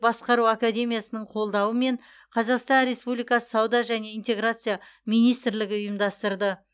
басқару академиясының қолдауымен қазақстан республикасы сауда және интеграция министрлігі ұйымдастырды